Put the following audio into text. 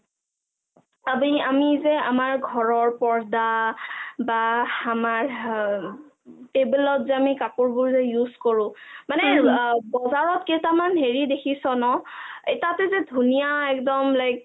আবে আমি যে আমাৰ ঘৰৰ পোৰ্দা বা আমাৰ টেবুলত যে আমি কাপোৰবোৰ যে use কৰো মানে বজাৰত কেইটামান হেৰি দেখিছ ন তাতে যে ধুনীয়া একদম like